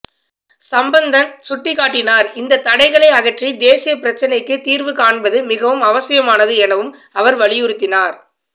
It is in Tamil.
சம்பந்தன் சுட்டிக்காட்டினார் இந்தத் தடைகளை அகற்றி தேசிய பிரச்சினைக்குத் தீர்வு காண்பது மிகவும் அவசியமானது எனவும் அவர் வலியுறுத்தினார்